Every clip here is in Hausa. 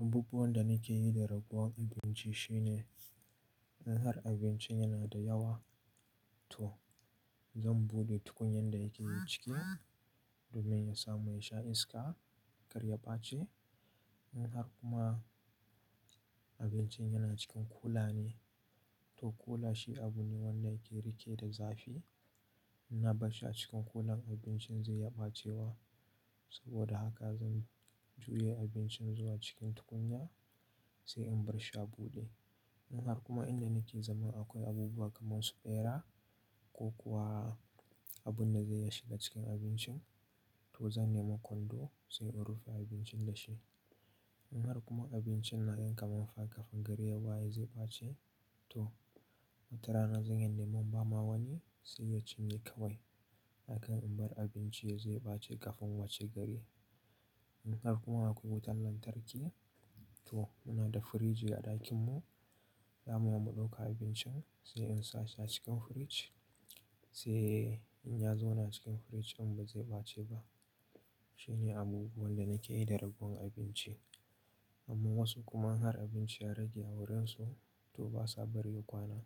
Abubuwan da nake yi da ragowar abinci shine in har abincin yana da yawa to zan buɗe tukunyan da yake ciki domin ya samu yasha iska kar ya bace. In har kuma abincin yana cikin kula ne to kula shi abu ne wanda yake rike da zafi. In na bar shi a cikin kulan abincin za iya ɓace wa. Saboda haka zan juye abincin zuwa cikin tukunya sai in bar shi a buɗe. In har kuma inda nake zaman akwai abubuwa kamar su bera ko kuwa abu na zai iya shiga cikin abincin to zan nemo kwando sai in rufe abincin da shi. In har kuma abincin na ga kamar kafin gari ya baye zai ɓace to wata rana zan iya neman bama wani sai yacin ye kawai. Akan in bar abinci yazo ya ɓace kafin washe gari. Idan kuma akwai wutan lantarki to, inada fridge a dakin mu zamu iya mu dauka abincin sai in sa shi acikin fridge. Sai in ya zauna a cikin fridge din ba zai bace ba. Shi ne abu wanda nakeyi da ragowar abinci. Amma wasu kuma in har abinci ya rage a wurin su, toh basa bari ya kwana.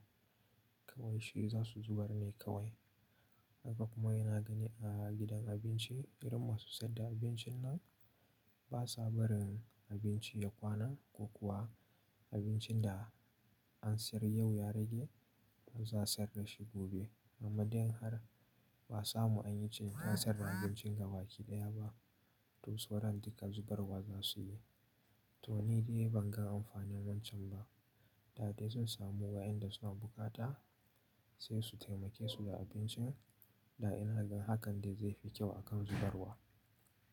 Kawai shi za su zubar ne kawai. Haka kuma yana gani a gidan abinci irin masu saida abincin nan ba sa barin abinci ya kwana ko kuwa abincin da an siyar yau ya rage, toh za'a siyar dashi gobe. Amma dai in har ba'a samu an yi ciniki an sayar da abincin gaba ki ɗaya ba to sauran duka zubarwa za su yi. To ni dai ban ga amfanin wancan ba. Da dai sun samu wa'inda suna buƙata sai su taimake su da abincin. Da in har hakan dai zai fi kyau akan zubarwa.